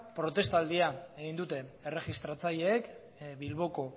protestaldia egin dute erregistratzaileek bilboko